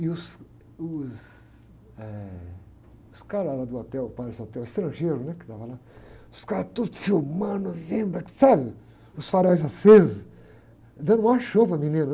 E os, os, eh, os caras lá do hotel, Palace Hotel, estrangeiros, né? Que estavam lá, os caras todos filmando, vendo, sabe? Os faróis acesos, dando maior show para a menina.